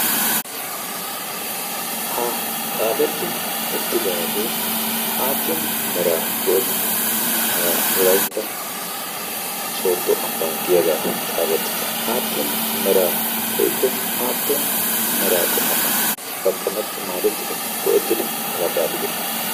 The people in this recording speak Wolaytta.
ha xaafetti uttidaagee aappun mera go7ettidi hagaa wulaitta sooddo ambba giyaagaa xaafettite aappun mera woikko aappun mera qomotan daqqametti maadettidi go7ettidi hagaa xaafidi?